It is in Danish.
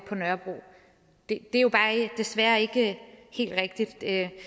på nørrebro det er jo bare desværre ikke helt rigtigt det